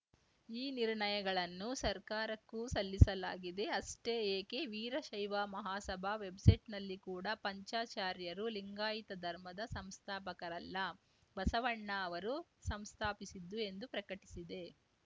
ಈ ನಿರ್ಣಯಗಳನ್ನು ಸರ್ಕಾರಕ್ಕೂ ಸಲ್ಲಿಸಲಾಗಿದೆ ಅಷ್ಟೇ ಏಕೆ ವೀರಶೈವ ಮಹಾಸಭಾ ವೆಬ್‌ಸೈಟ್‌ನಲ್ಲಿ ಕೂಡ ಪಂಚಾಚಾರ್ಯರು ಲಿಂಗಾಯತ ಧರ್ಮದ ಸಂಸ್ಥಾಪಕರಲ್ಲ ಬಸವಣ್ಣ ಅವರು ಸಂಸ್ಥಾಪಿಸಿದ್ದು ಎಂದು ಪ್ರಕಟಿಸಿದೆ